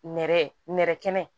Nɛrɛ nɛrɛ kɛnɛ